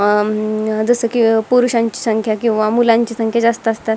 अं जसं की पुरुषांची संख्या किंवा मुलांची संख्या जास्त असतात.